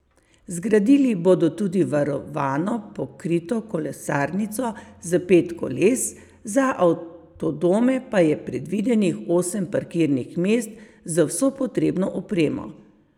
Zgradili bodo tudi varovano pokrito kolesarnico za pet koles, za avtodome pa je predvidenih osem parkirnih mest z vso potrebno opremo.